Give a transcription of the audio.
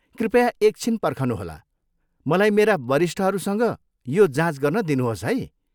कृपया एक छिन पर्खनुहोला। मलाई मेरा वरिष्ठहरूसँग यो जाँच गर्न दिनुहोस् है।